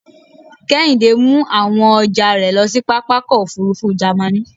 Kehinde mu awon ọjà rẹ̀ lo sí pápá ọkọ̀ òfurufú Jàmaní.